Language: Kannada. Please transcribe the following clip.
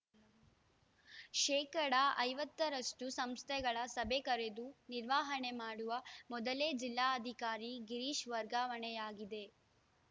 ಶೇಕಡಾ ಐವತ್ತರಷ್ಟುಸಂಸ್ಥೆಗಳ ಸಭೆ ಕರೆದು ನಿರ್ವಹಣೆ ಮಾಡುವ ಮೊದಲೇ ಜಿಲ್ಲಾಧಿಕಾರಿ ಗಿರೀಶ್‌ ವರ್ಗಾವಣೆಯಾಗಿದೆ